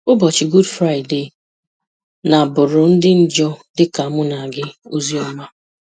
Ụbọchị Gud Fraịde na-abụrụ ndị njọ dịka mụ na gị ozi ọma